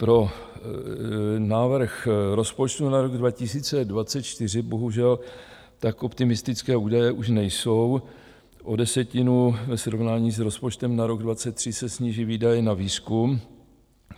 Pro návrh rozpočtu na rok 2024 bohužel tak optimistické údaje už nejsou, o desetinu ve srovnání s rozpočtem na rok 2023 se sníží výdaje na výzkum.